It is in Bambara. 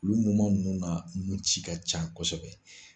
Ulu nunnu na nunci ka can kosɛbɛ.